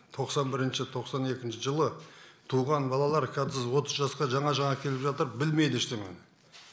тоқсан бірінші тоқсан екінші жылы туылған балалар қазір отыз жасқа жаңа жаңа келіп жатыр білмейді ештеңені